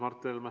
Mart Helme!